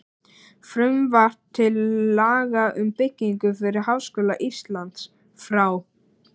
Frumvarp til laga um byggingu fyrir Háskóla Íslands, frá